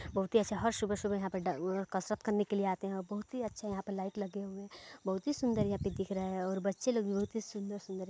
--बहुत ही अच्छा हर सुबहे सुबहे यहाँ पे डा-उ-कसरत करने के लिए आते है और बहुत ही अच्छा यहाँ पे लाइट लगे हुए है बहुत ही सुन्दर यहाँ पे दिख रहा है और बच्चे लोग भी बहुत ही सुन्दर सुन्दर--